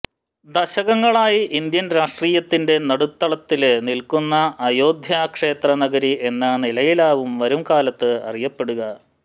ദശകങ്ങളായി Indian രാഷ്ട്രീയത്തിന്റെ നടുത്തളത്തില് നില്ക്കുന്ന അയോദ്ധ്യ ക്ഷേത്ര നഗരി എന്ന നിലയിലാകും വരും കാലത്ത് അറിയപ്പെടുക